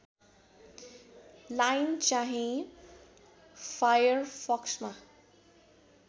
line चाहिँ फायरफक्समा